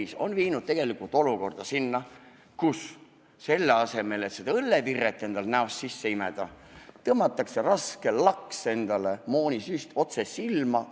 See on viinud tegelikult olukorrani, kus selle asemel, et õllevirret näost sisse imeda, lajatatakse raske laks, moonisüst otse silma.